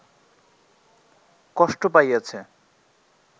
কষ্ট পাইয়াছে